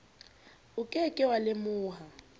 o ke ke wa lemoha